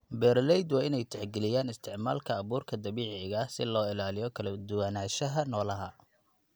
Beeraleydu waa inay tixgeliyaan isticmaalka abuurka dabiiciga ah si loo ilaaliyo kala duwanaanshaha noolaha.